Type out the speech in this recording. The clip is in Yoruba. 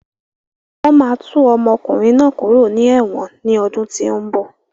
Wọn máa tú ọmọkùnrin náà kúrò ní ẹ̀wọ̀n ni ọdún tí ó ń bọ̀.